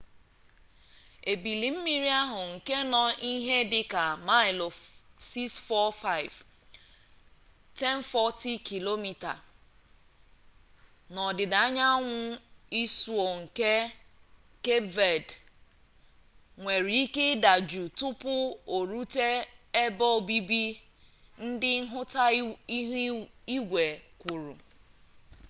ebili mmiri ahụ nke nọ ihe dịka maịlụ 645 1040 km n'ọdịda anyanwụ isuo nke kep ved nwere ike ịdajụ tupu orute ebe obibi ndị nhụta ihu igwe kwuru